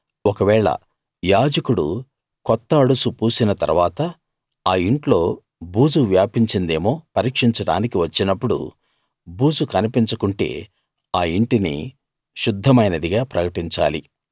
ఒకవేళ యాజకుడు కొత్త అడుసు పూసిన తరువాత ఆ ఇంట్లో బూజు వ్యాపించేదేమో పరీక్షించడానికి వచ్చినప్పుడు బూజు కన్పించకుంటే ఆ ఇంటిని శుద్ధమైనది గా ప్రకటించాలి